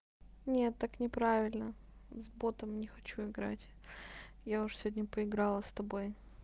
нет так неправильно с ботом не хочу играть я уже сегодня поиграла с тобой